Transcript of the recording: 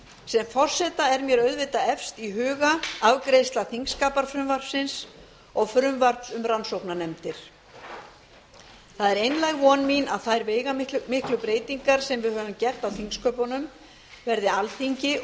sem forseta er mér auðvitað efst í huga afgreiðsla þingskapafrumvarpsins og frumvarp um rannsóknarnefndir það er einlæg von mín að þær veigamiklu breytingar sem við höfum gert á þingsköpunum verði alþingi